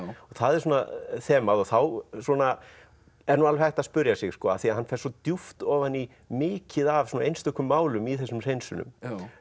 og það er svona þemað þá er nú alveg hægt að spyrja sig af því hann fer svo djúpt ofan í mikið af svona einstökum málum í þessum hreinsunum